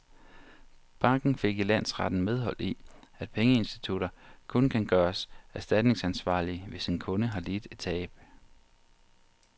Banken fik i landsretten medhold i, at pengeinstitutter kun kan gøres erstatningsansvarlige, hvis en kunde har lidt et tab.